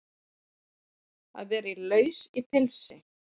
Að vera laus í pilsi